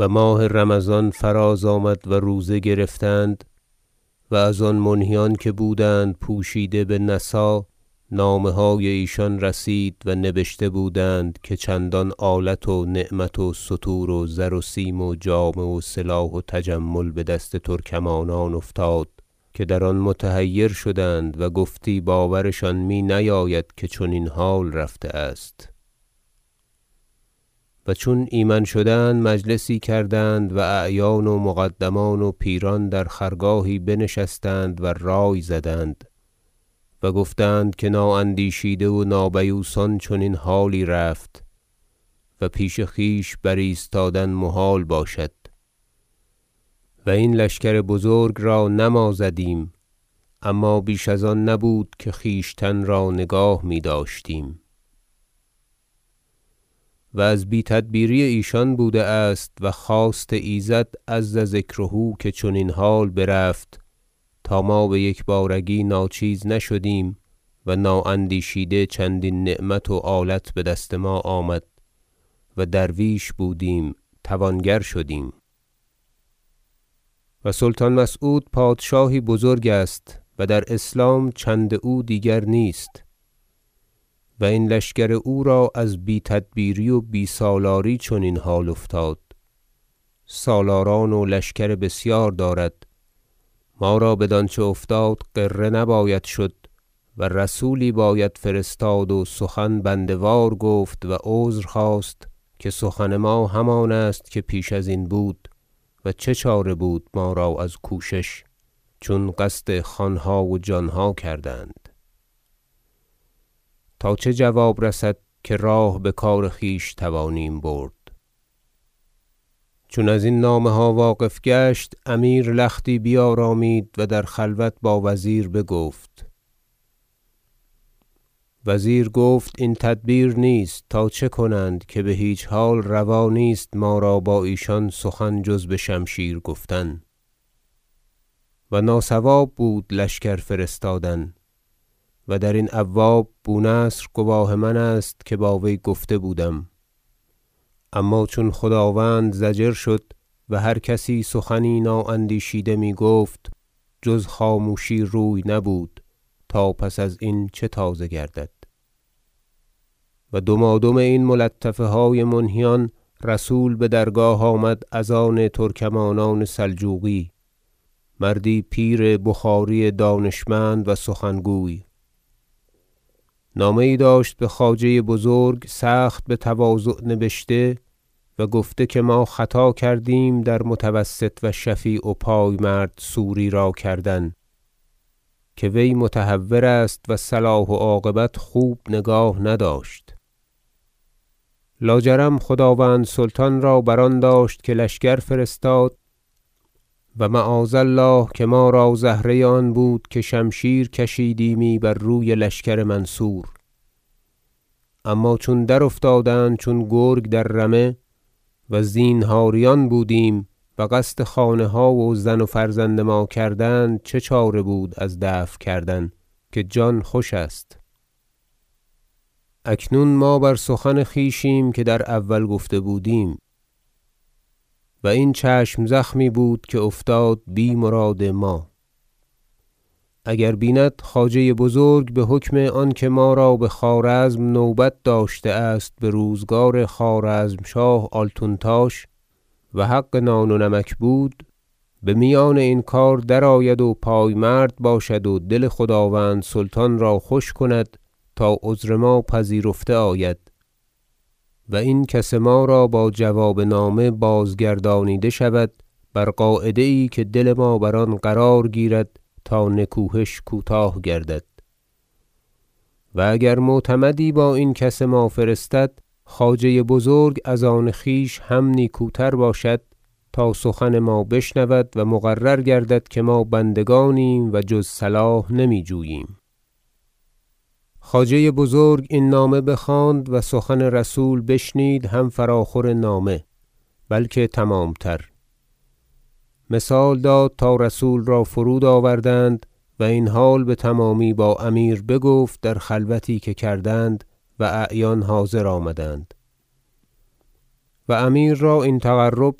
و ماه رمضان فراز آمد و روزه گرفتند و از آن منهیان که بودند پوشیده بنسا نامه های ایشان رسید و نبشته بودند که چندان آلت و نعمت و ستور و زر و سیم و جامه و سلاح و تجمل بدست ترکمانان افتاد که در آن متحیر شدند و گفتی باورشان می نیاید که چنین حال رفته است و چون ایمن شدند مجلسی کردند و اعیان و و مقدمان و پیران در خرگاهی بنشستند و رای زدند و گفتند که نااندیشیده و نابیوسان چنین حالی رفت و پیش خویش بر ایستادن محال باشد و این لشکر بزرگ را نه ما زدیم اما بیش از آن نبود که خویشتن را نگاه میداشتیم و از بی تدبیری ایشان بوده است و خواست ایزد عز ذکره که چنین حال برفت تا ما بیکبارگی ناچیز نشدیم و نااندیشیده چندین نعمت و آلت بدست ما آمد و درویش بودیم توانگر شدیم و سلطان مسعود پادشاهی بزرگ است و در اسلام چند او دیگر نیست و این لشکر او را از بی تدبیری و بی سالاری چنین حال افتاد سالاران و لشکر بسیار دارد ما را بدانچه افتاد غره نباید شد و رسولی باید فرستاد و سخن بنده وار گفت و عذر خواست که سخن ما همان است که پیش ازین بود و چه چاره بود ما را از کوشش چون قصد خانها و جانها کردند تا چه جواب رسد که راه بکار خویش توانیم برد چون ازین نامه ها واقف گشت امیر لختی بیارامید و در خلوت با وزیر بگفت وزیر گفت این تدبیر نیست تا چه کنند که بهیچ حال روا نیست ما را با ایشان سخن جز بشمشیر گفتن و ناصواب بود لشکر فرستادن و درین ابواب بونصر گواه من است که با وی گفته بودم اما چون خداوند ضجر شد و هر کسی سخنی نااندیشیده میگفت جز خاموشی روی نبود تا پس از این چه تازه گردد نامه ترکمانان در باب صلح و دمادم این ملطفه های منهیان رسول بدرگاه آمد از آن ترکمانان سلجوقی مردی پیر بخاری دانشمند و سخن گوی نامه یی داشت بخواجه بزرگ سخت بتواضع نبشته و گفته که ما خطا کردیم در متوسط و شفیع و پایمرد سوری را کردن که وی متهور است و صلاح و عاقبت خوب نگاه نداشت لاجرم خداوند سلطان را بر آن داشت که لشکر فرستاد و معاذ الله که ما را زهره آن بود که شمشیر کشیدیمی بر روی لشکر منصور اما چون درافتادند چون گرگ در رمه و زینهاریان بودیم و قصد خانه ها و زن و فرزند ما کردند چه چاره بود از دفع کردن که جان خوش است اکنون ما بر سخن خویشیم که در اول گفته بودیم و این چشم زخمی بود که افتاد بی مراد ما اگر بیند خواجه بزرگ بحکم آنکه ما را بخوارزم نوبت داشته است بروزگار خوارزمشاه آلتونتاش و حق نان و نمک بود بمیان این کار درآید و پایمرد باشد و دل خداوند سلطان را خوش کند تا عذر ما پذیرفته آید و این کس ما را با جواب نامه بازگردانیده شود بر قاعده یی که دل ما بر آن قرار گیرد تا نکوهش کوتاه گردد و اگر معتمدی با این کس ما فرستد خواجه بزرگ از آن خویش هم نیکوتر باشد تا سخن ما بشنود و مقرر گردد که ما بندگانیم و جز صلاح نمی جوییم خواجه بزرگ این نامه بخواند و سخن رسول بشنید هم فراخور نامه بلکه تمامتر مثال داد تا رسول را فرود آوردند و این حال بتمامی با امیر بگفت در خلوتی که کردند و اعیان حاضر آمدند و امیر را این تقرب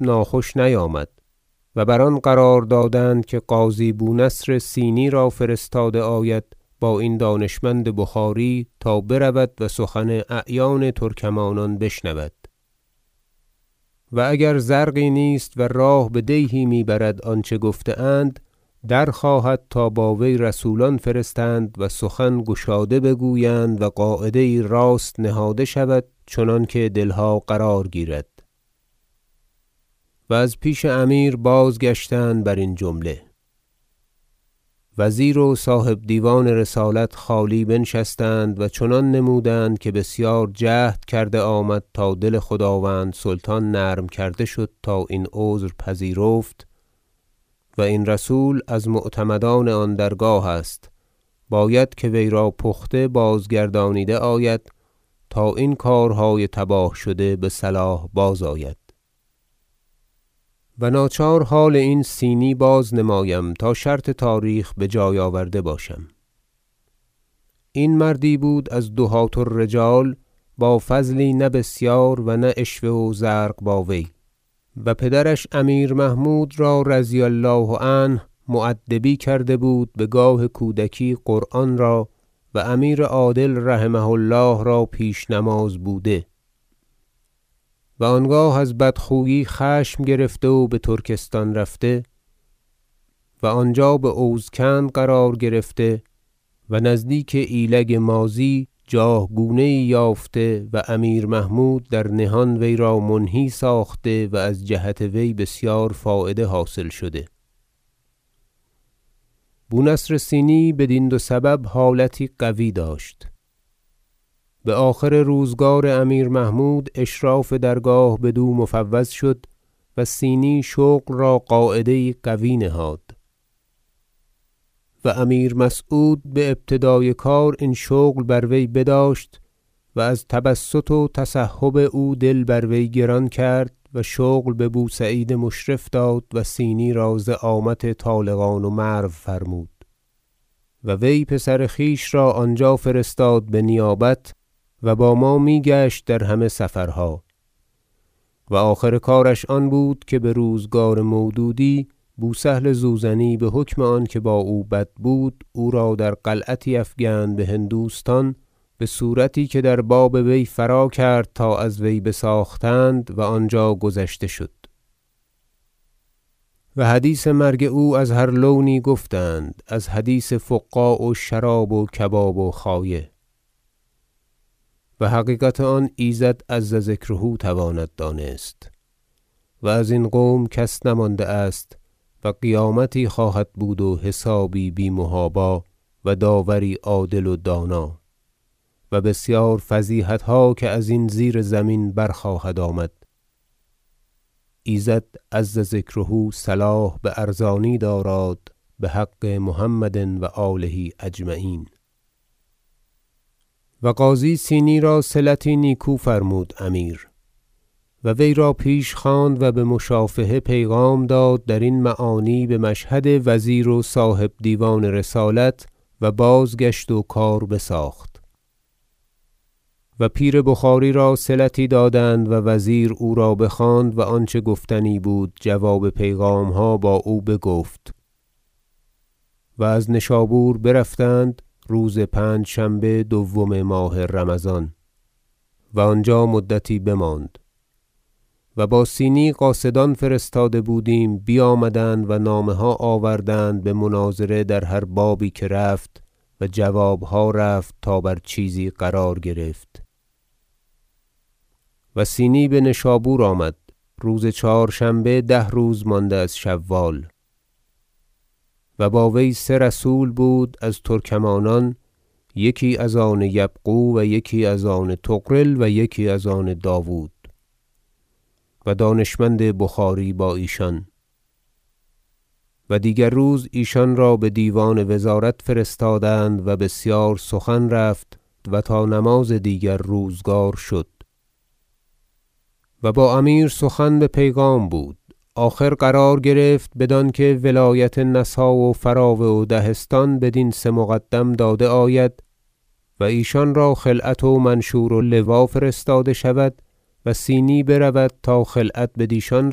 ناخوش نیامد و بر آن قرار دادند که قاضی بونصر صینی را فرستاده آید با این دانشمند بخاری تا برود و سخن اعیان ترکمانان بشنود و اگر زرقی نیست و راه بدیهی می برد آنچه گفته اند درخواهد تا با وی رسولان فرستند و سخن گشاده بگویند و قاعده یی راست نهاده شود چنانکه دلها قرار گیرد و از پیش امیر بازگشتند برین جمله وزیر و صاحب دیوان رسالت خالی بنشستند و چنان نمودند که بسیار جهد کرده آمد تا دل خداوند سلطان نرم کرده شد تا این عذر بپذیرفت و این رسول از معتمدان آن درگاه است باید که وی را پخته باز- گردانیده آید تا این کارهای تباه شده بصلاح بازآید و ناچار حال این صینی بازنمایم تا شرط تاریخ بجای آورده باشم این مردی بود از دهاة الرجال با فضلی نه بسیار و نه عشوه و زرق با وی و پدرش امیر محمود را رضی الله عنه مؤدبی کرده بود بگاه کودکی قرآن را و امیر عادل رحمة الله را پیشنماز بوده و آنگاه از بدخویی خشم گرفته و بترکستان رفته و آنجا باوز کند قرار گرفته و نزدیک ایلگ ماضی جاه گونه یی یافته و امیر محمود در نهان وی را منهی ساخته و از جهت وی بسیار فایده حاصل شده بونصر صینی بدین دو سبب حالتی قوی داشت بآخر روزگار امیر محمود اشراف درگاه بدو مفوض شد وصینی شغل را قاعده یی قوی نهاد و امیر مسعود بابتدای کار این شغل بر وی بداشت و از تبسط و تسحب او دل بر وی گران کرد و شغل ببوسعید مشرف داد وصینی را زعامت طالقان و مرو فرمود و وی پسر خویش را آنجا فرستاد به نیابت و با ما میگشت در همه سفرها و آخر کارش آن بود که بروزگار مودودی بوسهل زوزنی بحکم آنکه با او بد بود او را در قلعتی افکند بهندوستان بصورتی که در باب وی فراکرد تا از وی بساختند و آنجا گذشته شد و حدیث مرگ او از هر لونی گفتند از حدیث فقاع و شراب و کباب و خایه و حقیقت آن ایزد عز ذکره تواند دانست و از این قوم کس نمانده است و قیامتی خواهد بود و حسابی بی محابا و داوری عادل و دانا و بسیار فضیحتها که ازین زیرزمین برخواهد آمد ایزد عز ذکره صلاح بارزانی داراد بحق محمد و آله اجمعین و قاضی صینی را صلتی نیکو فرمود امیر و وی را پیش خواند و بمشافهه پیغام داد درین معانی بمشهد وزیر و صاحب دیوان رسالت و بازگشت و کار بساخت و پیر بخاری را صلتی دادند و وزیر او را بخواند و آنچه گفتنی بود جواب پیغامها با او بگفت و از نشابور برفتند روز پنجشنبه دوم ماه رمضان و آنجا مدتی بماند و با صینی قاصدان فرستاده بودیم بیامدند و نامه ها آوردند بمناظره در هر بابی که رفت و جوابها رفت تا بر چیزی قرار گرفت وصینی بنشابور آمد روز چهارشنبه ده روز مانده از شوال و با وی سه رسول بود از ترکمانان یکی از آن یبغو و یکی از آن طغرل و یکی از آن داود و دانشمند بخاری با ایشان و دیگر روز ایشان را بدیوان وزارت فرستادند و بسیار سخن رفت و تا نماز دیگر روزگار شد و با امیر سخن به پیغام بود آخر قرار گرفت بدانکه ولایت نسا و فراوه و دهستان بدین سه مقدم داده آید و ایشان را خلعت و منشور و لوا فرستاده شود وصینی برود تا خلعت بدیشان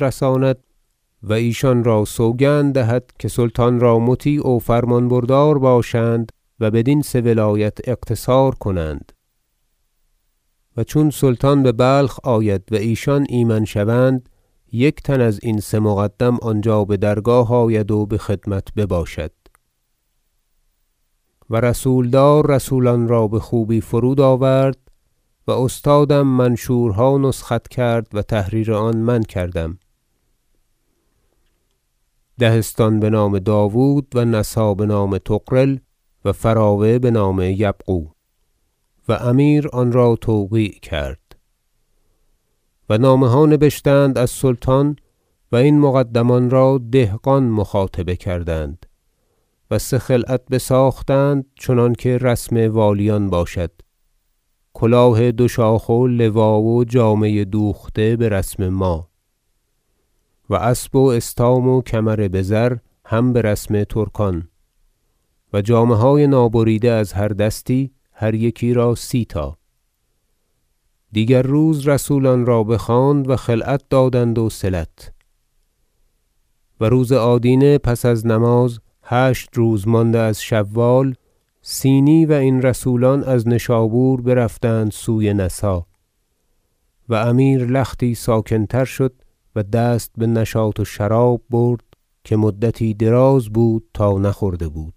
رساند و ایشان را سوگند دهد که سلطان را مطیع و فرمان بردار باشند و بدین سه ولایت اقتصار کنند و چون سلطان ببلخ آید و ایشان ایمن شوند یک تن ازین سه مقدم آنجا بدرگاه آید و بخدمت بباشد و رسولدار رسولان را بخوبی فرود آورد و استادم منشورها نسخت کرد و تحریر آن من کردم دهستان بنام داود و نسا بنام طغرل و فراوه بنام یبغو و امیر آن را توقیع کرد و نامه ها نبشتند از سلطان و این مقدمان را دهقان مخاطبه کردند و سه خلعت بساختند چنانکه رسم والیان باشد کلاه دو شاخ و لوا و جامه دوخته برسم ما و اسب و استام و کمر بزر هم برسم ترکان و جامه های نابریده از هر دستی هر یکی را سی تا دیگر روز رسولان را بخواند و خلعت دادند وصلت و روز آدینه پس از نماز هشت روز مانده از شوال صینی و این رسولان از نشابور برفتند سوی نسا و امیر لختی ساکن تر شد و دست بنشاط و شراب برد که مدتی دراز بود تا نخورده بود